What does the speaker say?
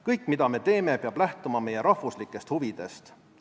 Kõik, mida me teeme, peab lähtuma meie rahvuslikest huvidest.